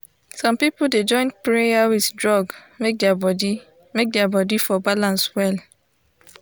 some people dey join prayer with drug make their body make their body for balance well.